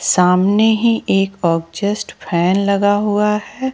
सामने ही एक आग्जेस्ट फैन लगा हुआ है।